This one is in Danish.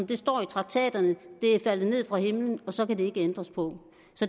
det står i traktaterne det er faldet ned fra himlen og så kan der ikke ændres på